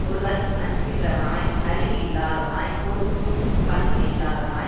ஒருவன் அஞ்சுகின்றவனாய் அறிவு இல்லாதவனாய் பொருந்தும் பண்பு இல்லாதவனாய்